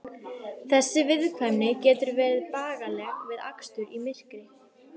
Þessi viðkvæmni getur verið bagaleg við akstur í myrkri.